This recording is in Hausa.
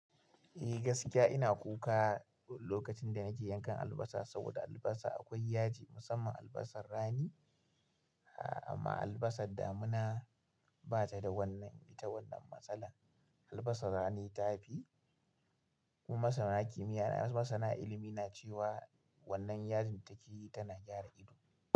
Eh gaskiya ina kuka lokacin da na je yankan albasa, saboda albasa akwai yaji musamman albasar rani. Amma albasar damina ba ta da wannan ita wannan matsalar. Albasar rani ta fi. Masana kimiyya na masana ilimi na cewa wannan yajin taki tana gyara ido.